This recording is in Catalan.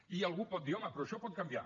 i algú pot dir home però això pot canviar